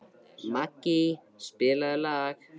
Maggý, spilaðu lag.